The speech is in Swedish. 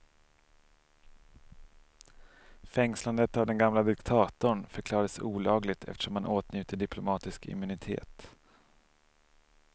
Fängslandet av den gamle diktatorn förklarades olagligt, eftersom han åtnjuter diplomatisk immunitet.